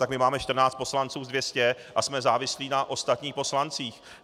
Tak my máme 14 poslanců z 200 a jsme závislí na ostatních poslancích.